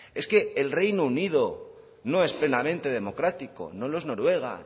es que el reino unido no es plenamente democrático no lo es noruega